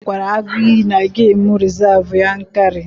Anyị hụkwara agụ iyi na gemụ rizavụ Yankari.